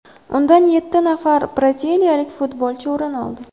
Undan yetti nafar braziliyalik futbolchi o‘rin oldi.